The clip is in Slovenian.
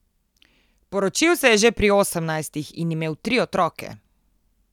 Poročil se je že pri osemnajstih in imel tri otroke.